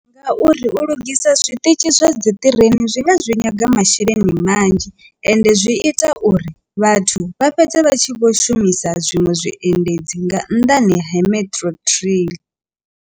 Ngauri u lugisa zwiṱitshi zwa dzi ṱireni zwi nga zwi nyaga masheleni manzhi ende zwi ita uri vhathu vha fhedze vha tshi vho shumisa zwiṅwe zwiendedzi nga nnḓani ha metro trail.